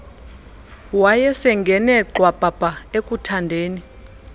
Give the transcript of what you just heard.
wayesengene gxwabhabha ekuthandeni